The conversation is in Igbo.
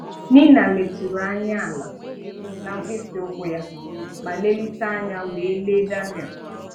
Nina leturu anya àlà na mkpịsị ụkwụ ya ma lelite anya were lee Daniel